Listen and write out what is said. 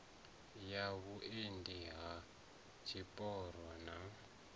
ya vhuendi ha tshipiro na